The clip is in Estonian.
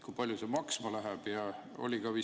Kui palju see maksma läheb?